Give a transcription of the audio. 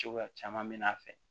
Cogoya caman bɛ n'a fɛ